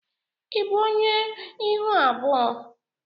Ị bụ onye ihu abụọ?